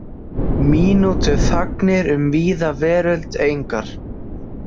Mínútuþagnir um víða veröld: engar.